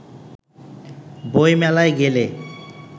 বইমেলায় গেলে